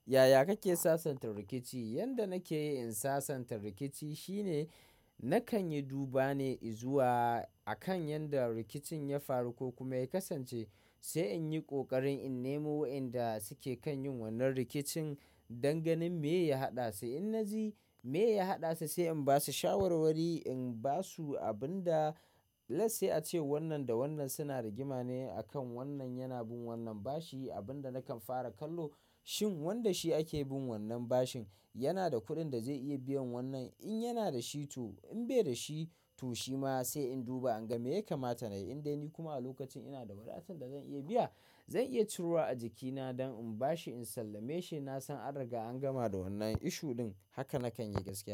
Yaya kake sasanta rikici? Yanda nakeyi in sasanta rikici shine nakan yi duba ne izuwa akan yanda rikicin ya faru ko kuma ya kasance sai in yi kokarin in nemo wainda suke kan yin wannan rikicin dan ganin mai ya haɗa su. In na ji mai ya haɗa su sai in basu shawarwari, in ba su abin da let's say ace wannan da wannan suna rigima ne akan wannan yana bin wannan bashi abin da nakan fara kallo shin wanda shi ake bin wannan bashin yana da kuɗin da zai iya biyan wannan. In yana da shi to in bai da shi to shi ma sai in duba in ga me ya kamata. In dai ni kuma a lokacin ina da wadatan da zan iya biya, zan iya turawa a jikina don in bashi in sallame shi na san an riga an gama da wannan issue ɗin. Haka nakan yi gaskiya.